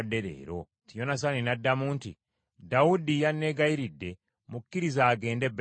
Yonasaani n’addamu nti, “Dawudi yanneegayiridde mukkirize agende e Besirekemu,